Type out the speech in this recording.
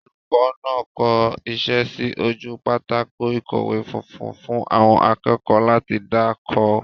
Olùkọ́ náà kọ iṣẹ́ sí ojú pátákó ìkọ̀wé funfun fún àwọn akẹ́kọ̀ọ́ láti dà kọ.